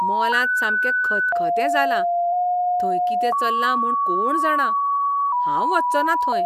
मॉलांत सामकें खतखतें जालां, थंय कितें चल्लां म्हूण कोण जाणा. हांव वचचो ना थंय.